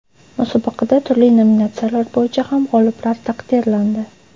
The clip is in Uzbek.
Musobaqada turli nominatsiyalar bo‘yicha ham g‘oliblar taqdirlandi.